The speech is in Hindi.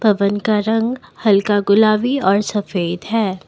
भवन का रंग हल्का गुलाबी और सफेद है।